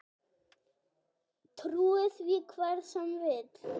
Trúi því hver sem vill.